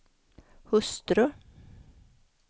hustru